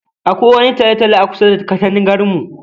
Akwai wani talo-talo akusa da katangar mu.